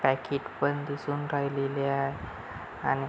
packet बंद असून काही लिहिले आहे आणि--